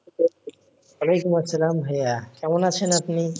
ওয়ালাইকুম আসলাম ভাইয়া কেমন আছেন আপনি?